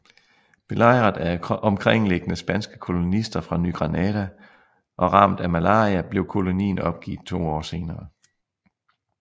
Belejret af omkringliggende spanske kolonister fra Ny Granada og ramt af malaria blev kolonien opgivet to år senere